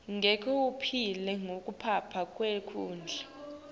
ngeke uphile ngaphandle kwekudla